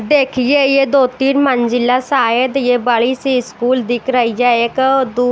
देखिए यह दो-तीन मंजिला शायद ये बड़ी सी स्कूल दिख रही है एक और दू --